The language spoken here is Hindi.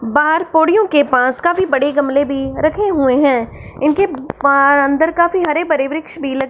बाहर पोडियो के पास काफी बड़े गमले भी रखे हुए हैं इनके बाहर अंदर काफी हरे भरे वृक्ष भी लगे --